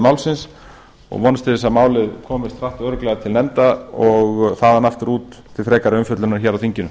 málsins og vonast til að málið komi hratt og örugglega til nefndar og þaðan aftur út til frekari umfjöllunar á þinginu